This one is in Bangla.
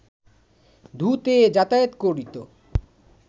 ধু-তে যাতায়াত করিত